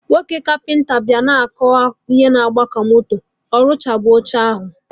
Nwoke kapịnta bịa kọba akụkọ na-agba ka moto, orụchabeghi oche ahụ